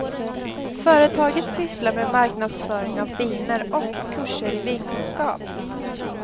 Företaget sysslar med marknadsföring av viner och kurser i vinkunskap.